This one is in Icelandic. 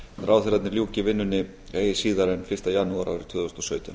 ráðherrarnir ljúki vinnunni eigi síðan en fyrsta janúar árið tvö þúsund og sautján